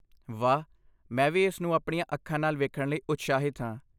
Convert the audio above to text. ਵਾਹ! ਮੈਂ ਵੀ ਇਸ ਨੂੰ ਆਪਣੀਆਂ ਅੱਖਾਂ ਨਾਲ ਵੇਖਣ ਲਈ ਉਤਸ਼ਾਹਿਤ ਹਾਂ।